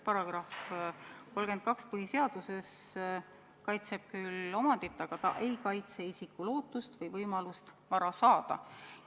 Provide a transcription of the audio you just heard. Paragrahv 32 põhiseaduses kaitseb küll omandit, aga ta ei kaitse isiku lootust ja võimalust vara saada.